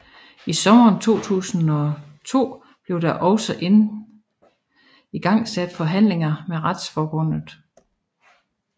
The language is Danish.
I sommeren 2002 blev der også igangsat forhandlinger med Retsforbundet